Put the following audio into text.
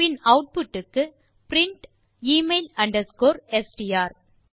பின் output க்கு print email underscore STR